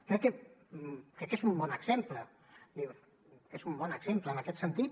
crec que és un bon exemple és un bon exemple en aquest sentit